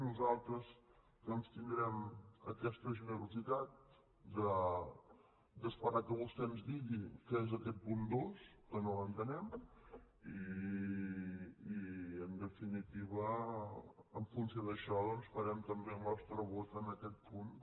nosaltres doncs tindrem aquesta generositat d’esperar que vostè ens digui què és aquest punt dos que no l’entenem i en definitiva en funció d’això doncs farem també el nostre vot en aquest punt